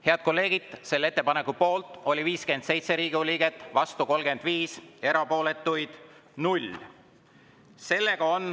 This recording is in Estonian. Head kolleegid, selle ettepaneku poolt oli 57 Riigikogu liiget, vastuolijaid 35 ja erapooletuid 0.